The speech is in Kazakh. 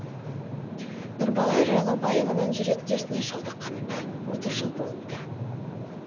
нұрбала жайлаубаеваның жүрек дертіне шалдыққанына отыз жыл болыпты